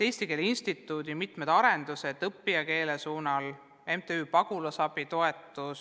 Eesti Keele Instituudis on mitmed arendused õppijakeele suunal, on MTÜ Pagulasabi toetus.